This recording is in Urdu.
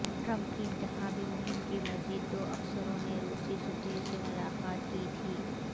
ٹرمپ کی انتخابی مہم کے مزید دو افسروں نے روسی سفیر سے ملاقات کی تھی